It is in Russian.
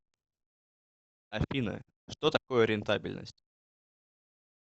афина что такое рентабельность